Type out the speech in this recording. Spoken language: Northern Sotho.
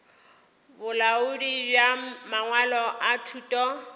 bolaodi bja mangwalo a thuto